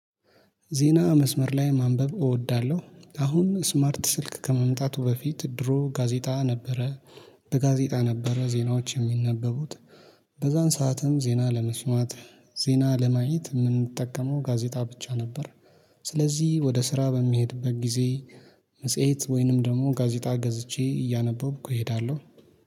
ዜና መስመር ላይ ማንበብ እወዳለሁ አሁን ስማርት ስልክ ከመምጣቱ በፊት ድሮ ጋዜጣ ነበረ። በጋዜጣ ነበረ ዜናዎች የሚነበቡት። በዛን ሰዓትም ዜና ለመስማት ዜና ለማየት የምንጠቀመው ጋዜጣ ብቻ ነበር። ስለዚህ ወደ ስራ በሚሄድበት ጊዜ መጽሄት ወይንም ደግሞ ጋዜጣ ገዝቼ እያነበብኩ እሄዳለሁ